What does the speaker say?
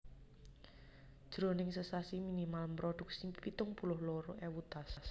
Jroning sesasi minimal mrodhuksi pitung puluh loro ewu tas